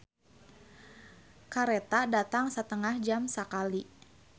"Kareta datang satengah jam sakali"